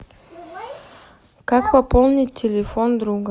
как пополнить телефон друга